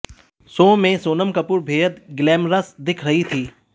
show में सोनम कपूर बेहद glamorous दिख रही थीं